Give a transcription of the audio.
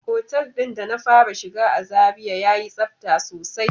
Otel din da na fara shiga a zarai ya yi tsafta sosai.